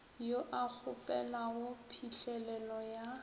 yo a kgopelago phihlelelo ya